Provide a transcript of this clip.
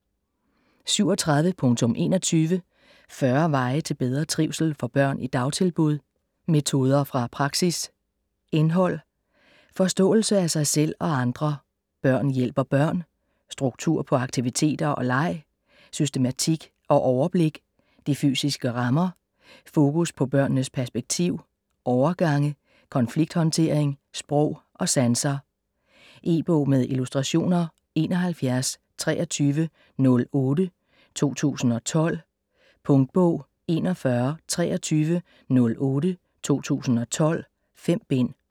37.21 40 veje til bedre trivsel for børn i dagtilbud: metoder fra praksis Indhold: Forståelse af sig selv og andre ; Børn hjælper børn ; Struktur på aktiviteter og leg ; Systematik og overblik ; De fysiske rammer ; Fokus på børnenes perspektiv ; Overgange ; Konflikthåndtering ; Sprog og sanser. E-bog med illustrationer 712308 2012. Punktbog 412308 2012. 5 bind.